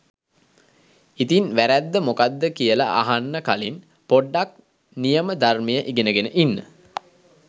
ඉතින් වැරැද්ද මොකද්ද කියල අහන්න කලින් පොඩ්ඩක් නියම ධර්මය ඉගෙන ගෙන ඉන්න.